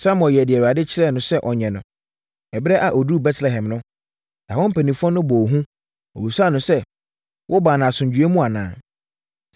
Samuel yɛɛ deɛ Awurade kyerɛɛ no sɛ ɔnyɛ no. Ɛberɛ a ɔduruu Betlehem no, ɛhɔ mpanimfoɔ no bɔɔ hu. Wɔbisaa no sɛ, “Wobaa no asomdwoeɛ mu anaa?”